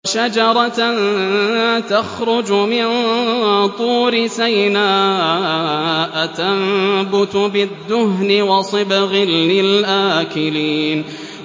وَشَجَرَةً تَخْرُجُ مِن طُورِ سَيْنَاءَ تَنبُتُ بِالدُّهْنِ وَصِبْغٍ لِّلْآكِلِينَ